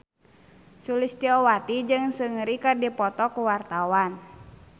Sulistyowati jeung Seungri keur dipoto ku wartawan